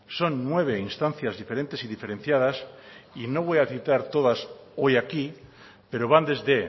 son nueve instancias diferentes y diferenciadas y no voy a citar todas hoy aquí pero van desde